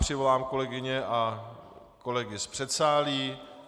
Přivolám kolegyně a kolegy z předsálí.